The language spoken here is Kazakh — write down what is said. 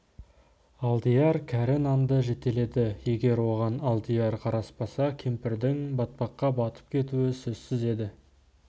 алдияр кәрі нанды жетеледі егер оған алдияр қараспаса кемпірдің батпаққа батып кетуі сөзсіз еді